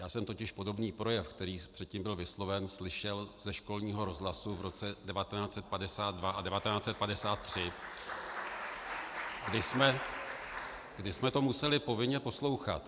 Já jsem totiž podobný projev, který předtím byl vysloven, slyšel ze školního rozhlasu v roce 1952 a 1953 , kdy jsme to museli povinně poslouchat.